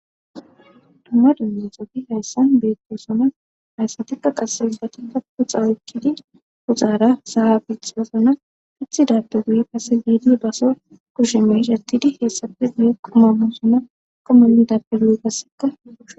Dumma dunya xofi hayssan beetto sona hayssatikka qassebati takko xawekkidi kuxaara sahabitosona hithi dappe guye kase giidi baso kusheme ishatidi heessafe guye qomamu sona qomani dappe duye gasseka